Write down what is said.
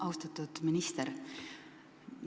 Austatud minister!